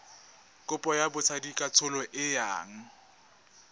kopo ya botsadikatsholo e yang